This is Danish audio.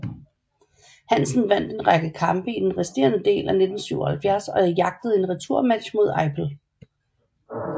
Hansen vandt en række kampe i den resterende del af 1977 og jagtede en returmatch mod Eipel